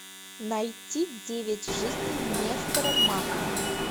найти девять жизней нестора махно